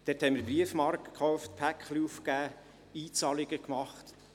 Dort haben wir Briefmarken gekauft, Pakete aufgegeben, Einzahlungen getätigt.